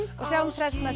sjáumst hress næsta